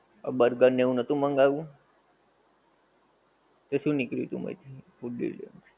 Burger ને એવું નોતું મંગાવ્યું? એ શું નીકળ્યું તું પછી ફૂડ ડિલિવરી વખતે.